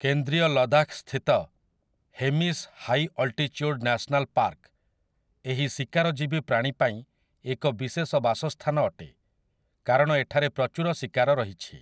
କେନ୍ଦ୍ରୀୟ ଲଦାଖ୍‌ସ୍ଥିତ 'Hemis high altitude national park' ଏହି ଶିକାରଜୀବୀ ପ୍ରାଣୀ ପାଇଁ ଏକ ବିଶେଷ ବାସସ୍ଥାନ ଅଟେ କାରଣ ଏଠାରେ ପ୍ରଚୁର ଶିକାର ରହିଛି ।